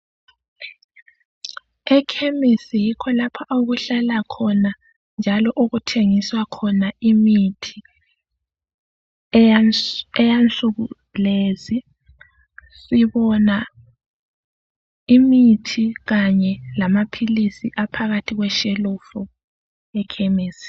Ekhemisi yikho lapho okuhlala khona njalo yikho lapho okuthengiswa khona imithi eyensuku lezi sibona imithi kanye lamaphilizi aphakathi kweshelufu ekhemisi